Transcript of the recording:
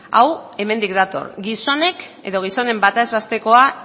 hau hemendik dator gizonek edo gizonen bataz bestekoa